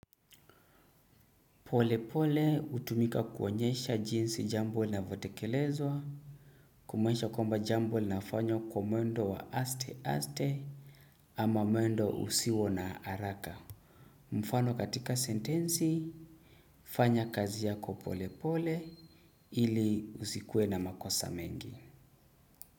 Polepole hutumika kuonyesha jinsi jambo linavyotekelezwa kumaanisha kwamba jambo linafanywa kwa mwendo wa asteaste ama mwendo usio na haraka mfano katika sentensi fanya kazi yako polepole ili usikue na makosa mengi.